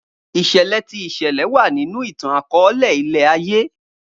Iṣẹlẹ ti ìṣẹlẹ wa ninu itan-akọọlẹ ilẹ-aye.